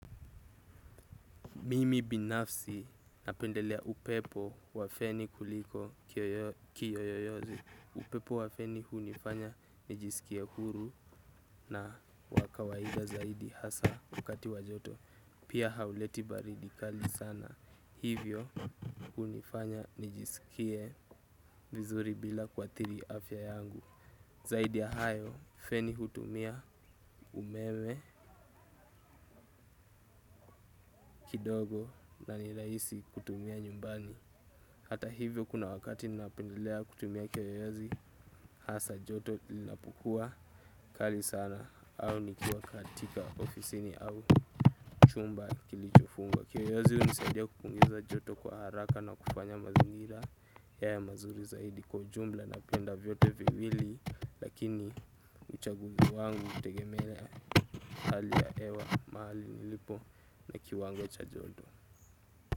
Mimi binafsi napendelea upepo wa feni kuliko kiyoyo yozi. Upepo wa feni hunifanya nijiskie huru na wa kawaida zaidi hasa wakati wa joto. Pia hauleti baridi kali sana. Hivyo hunifanya nijiskie vizuri bila kuathiri afya yangu. Zaidi ya hayo, feni hutumia umeme kidogo na ni raisi kutumia nyumbani. Hata hivyo kuna wakati na pendelea kutumia kiyoyozi hasa joto linapukua kali sana au nikiwa katika ofisini au chumba kilicho fungwa. Kiyoyozi hunisaidia kupunguza joto kwa haraka na kufanya mazingira ya mazuri zaidi kwa jumla na penda vyote viwili lakini uchaguzi wangu utegemelea hali ya hewa mahali nilipo na kiwango cha joto.